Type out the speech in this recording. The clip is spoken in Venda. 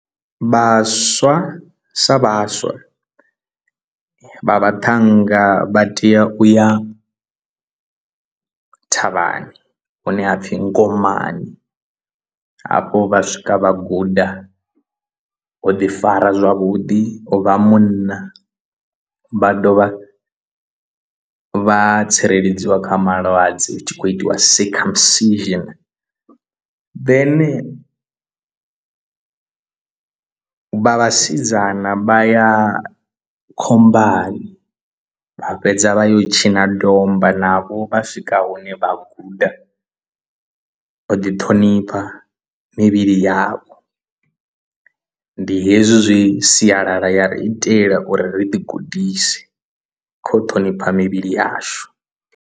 Vhaswa sa vhaswa vha vhaṱhannga vha tea u ya thavhani hune hapfhi ngomani hafho vha swika vha guda u ḓi fara zwavhuḓi u vha munna vha dovha vha tsireledziwa kha malwadze hu tshi khou itiwa circumsition, then vha vhasidzana vha ya khombani vha fhedza vha yo tshina domba navho vha swika hune vha guda u ḓi ṱhonipha mivhili yavho ndi hezwi zwi sialala ya ri itela uri ri ḓi gudise kha u ṱhonipha mivhili yashu.